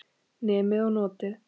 Nemið og notið.